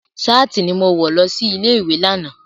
Ṣáàtì ni mo wọ lọ sí ilé ìwé lánàá.